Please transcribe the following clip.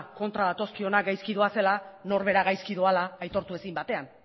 kontra datozkionak gaizki doazela norbera gaizki doala aitortu ezin batean